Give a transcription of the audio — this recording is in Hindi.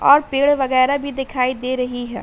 और पेड़ वगैरा भी दिखाई दे रही है।